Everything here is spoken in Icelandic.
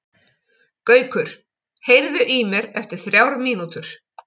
Gaukur, heyrðu í mér eftir þrjár mínútur.